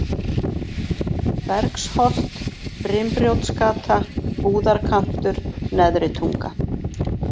Bergsholt, Brimbrjótsgata, Búðarkantur, Neðri Tunga